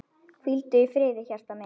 Hvíldu í friði hjartað mitt.